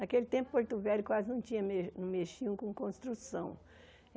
Naquele tempo Porto Velho quase não tinha me não mexiam com construção.